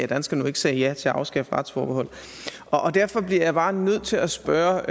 danskerne nu ikke sagde ja til at afskaffe retsforbeholdet og derfor bliver jeg bare nødt til at spørge